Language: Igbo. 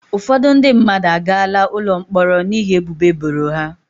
Ụfọdụ ndị mmadụ agaala ụlọ mkpọrọ n'ihi ebubo eboro ha.